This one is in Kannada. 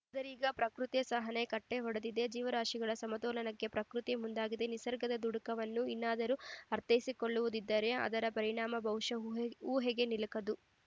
ಆದರೀಗ ಪ್ರಕೃತಿಯ ಸಹನೆ ಕಟ್ಟೆಒಡೆದಿದೆ ಜೀವರಾಶಿಗಳ ಸಮತೋಲನಕ್ಕೆ ಪ್ರಕೃತಿಯೇ ಮುಂದಾಗಿದೆ ನಿಸರ್ಗದ ದುಗುಡವನ್ನು ಇನ್ನಾದರೂ ಅರ್ಥೈಸಿಕೊಳ್ಳದಿದ್ದರೆ ಅದರ ಪರಿಣಾಮ ಬಹುಶಃ ಊಹೆ ಊಹೆಗೆ ನಿಲುಕದು